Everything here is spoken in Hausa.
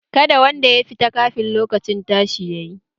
Kada wanda ya fita kafin lokacin tashi yayi!